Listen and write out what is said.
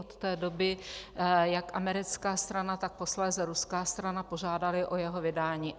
Od té doby jak americká strana, tak posléze ruská strana požádaly o jeho vydání.